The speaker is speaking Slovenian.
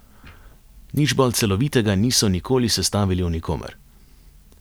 Nič bolj celovitega niso nikoli sestavili o nikomer.